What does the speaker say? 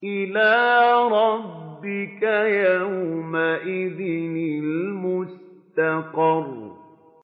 إِلَىٰ رَبِّكَ يَوْمَئِذٍ الْمُسْتَقَرُّ